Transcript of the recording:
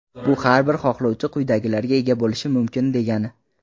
Bu – har bir xohlovchi quyidagilarga ega bo‘lishi mumkin degani:.